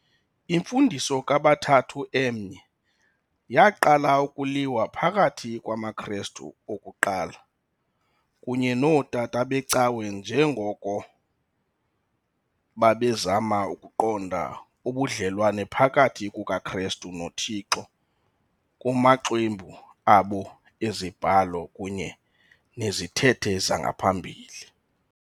Imfundiso kaBathathu Emnye yaqala ukuyilwa phakathi kwamaKristu okuqala kunye nootata beCawe njengoko babezama ukuqonda ubudlelwane phakathi kukaKhrestu noThixo kumaxwebhu abo ezibhalo kunye nezithethe zangaphambili.